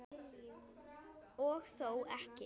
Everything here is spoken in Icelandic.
Og þó ekki!